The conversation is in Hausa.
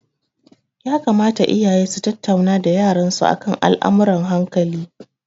Ya kamata iyaye su tattauna da yaran su akan al'amurran hankali.